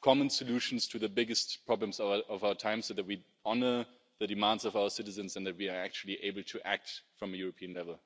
common solutions to the biggest problems of our time so that we honour the demands of our citizens and that we are actually able to act from a European level.